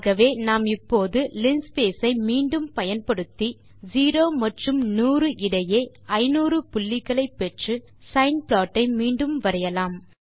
ஆகவே நாம் இப்போது லின்ஸ்பேஸ் ஐ மீண்டும் பயன்படுத்தி 0 மற்றும் 100 இடையே 500 புள்ளிகளை பெற்று சைன் ப்ளாட் ஐ மீண்டும் வரையலாம்